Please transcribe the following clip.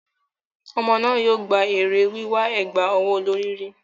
Ọmọ náà yóò gba èrè wíwà ẹ̀gbà ọwọ́ olorì rí.